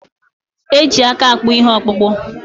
Eji aka akpụ ihe okpụkpu